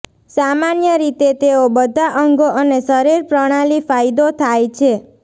સામાન્ય રીતે તેઓ બધા અંગો અને શરીર પ્રણાલી ફાયદો થાય છે